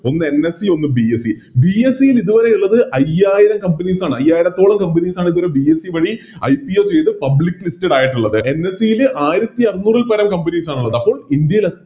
ഒന്ന് NSE ഒന്ന് BSEBSE ല് ഇതുവരെയുള്ളത് അയ്യായിരം Companies ആണ് അയ്യായിരത്തോളം Companies ആണ് ഇതുവരെ BSE വഴി IPO ചെയ്തത് Public listed ലായിട്ടുള്ളത് NSE ല് ആയിരത്തി അറുന്നൂറില്പരം Companies ആണുള്ളത് അപ്പോൾ ഇന്ത്യയിലെത്